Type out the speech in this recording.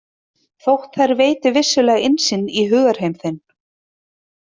Þótt þær veiti vissulega innsýn í hugarheim þinn.